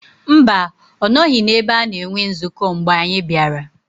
Mba, ọ nọghị n’ebe a na-enwe nzukọ mgbe anyị bịara